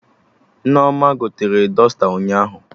Nneoma gotere dọsta ụnyaahụ